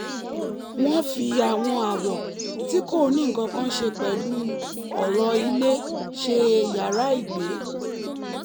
wọ́n fi àwọn àwọ̀ tí kò ní nǹkan kan ṣe pẹ̀lú ọ̀rọ̀ ilé ṣe yàrá ìgbẹ́